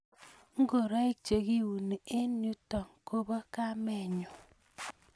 ngoroiik chekiuni en ento kobo kamenyuu